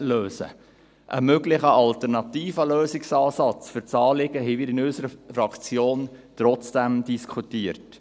Einen möglichen alternativen Lösungsansatz für das Anliegen haben wir in unserer Fraktion trotzdem diskutiert.